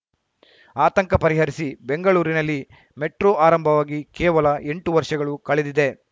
ಆತಂಕ ಪರಿಹರಿಸಿ ಬೆಂಗಳೂರಿನಲ್ಲಿ ಮೆಟ್ರೋ ಆರಂಭವಾಗಿ ಕೇವಲ ಎಂಟು ವರ್ಷಗಳು ಕಳೆದಿದೆ